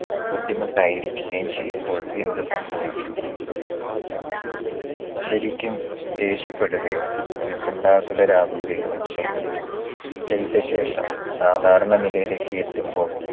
ബുദ്ധിമുട്ടായിരിക്കുകയും ചെയ്യുമ്പോൾ എന്ത് സംഭവിക്കും. ശരിക്കും ദേഷ്യപ്പെടുകയോ ഉത്കണ്ഠാകുലരാകുകയോ ചെയ്തു. ചെയ്ത ശേഷം സാധാരണ നിലയിലേക്ക് എത്തുമ്പോൾ